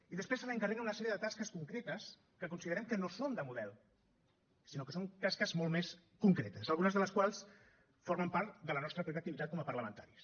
i després se li encarreguen una sèrie de tasques concretes que considerem que no són de model sinó que són tasques molt més concretes algunes de les quals formen part de la nostra pròpia activitat com a parlamentaris